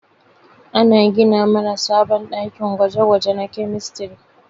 Ana gina mana sabon ɗakin gwaje-gwaje na kemistri.